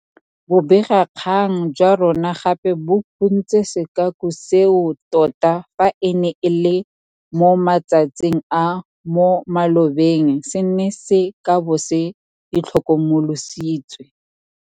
Bobegakgang jwa rona gape bo phuntse sekaku seo tota fa e ne e le mo matsatsing a mo malobeng se neng se ka bo se itlhokomolositswe.